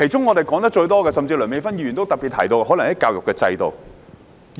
我們說得最多的問題，梁美芬議員也特別提到，就是有關教育制度的問題。